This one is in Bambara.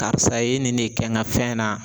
Karisa ye nin ne kɛ n ka fɛn na